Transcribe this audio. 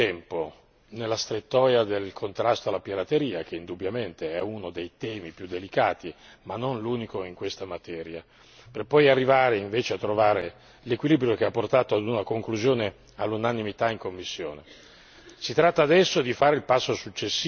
Ora abbiamo perso molto tempo nella strettoia del contrasto alla pirateria, che indubbiamente è uno dei temi più delicati, ma non l'unico in questa materia, per poi arrivare invece a trovare l'equilibrio che ha portato ad una conclusione all'unanimità in commissione.